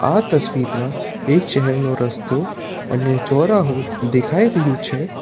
આ તસવીરમાં એક શહેરનો રસ્તો અને ચોરાહુ દેખાય રહ્યું છે.